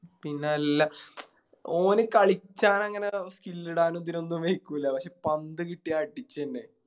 പിന്നല്ല ഒന് കളിക്കനങ്ങനെ Skill ഇടാനും ഇതിനൊന്നും കളിക്കൂല പക്ഷെ പന്ത് കിട്ടിയ അടിക്കന്നെ